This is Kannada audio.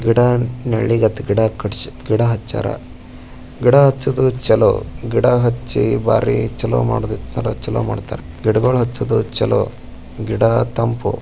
ಗಿಡ ನಲಿಗ್ ಅತ್ ಗಿಡ ಹಚ್ಯಾರ ಗಿಡ ಹಚ್ಚೋದು ಚಲೋ ಗಿಡ ಹಚ್ಚಿ ಬಾರಿ ಚಲೋ ಮಾಡಿದಿ ಚಲೋ ಮಾಡ್ತಾರ ಗಿಡಗಳು ಹಚೋದು ಚ್ಹೋಲೋ.